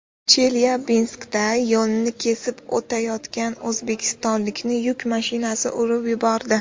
Chelyabinskda yo‘lni kesib o‘tayotgan o‘zbekistonlikni yuk mashinasi urib yubordi.